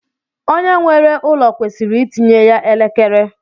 Onye nwere ụlọ kwesịrị itinye ya elekere.